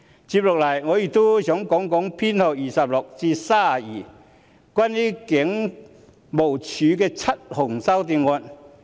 接下來，我也想談談修正案編號26至 32， 即關於香港警務處的7項修正案。